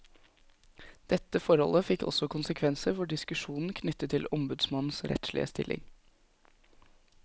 Dette forholdet fikk også konsekvenser for diskusjonen knyttet til ombudsmannens rettslige stilling.